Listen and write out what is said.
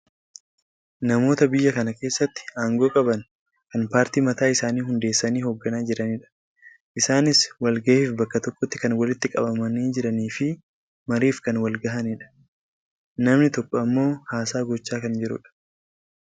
Namoota biyya kana keessatti aangoo qaban kan paartii mataa isaanii hundeessanii hoogganaa jiranidha. Isaanis wal gahiif bakka tokkotti kan walitti qabamanii jiraniifi mariif kan wal gahanidha. Namni tokko ammoo haasaa gochaa kan jirudha.